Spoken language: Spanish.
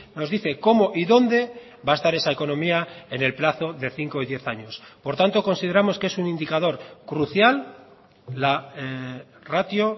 nos dice cómo y dónde va a estar esa economía en el plazo de cinco y diez años por tanto consideramos que es un indicador crucial la ratio